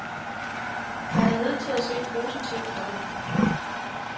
Man er nødt til at se positivt på det.